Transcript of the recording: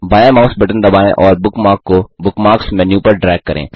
बायाँ mouse button दबाएँ और बुकमार्क को बुकमार्क्स मेन्यू पर ड्रैग करें